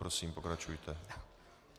Prosím, pokračujte.